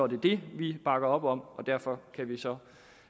det det vi bakker op om og derfor kan vi så